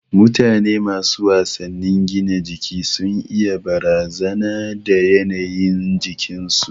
Mutane masu wasannin gina jiki sun iya barazana da yanayin jikin su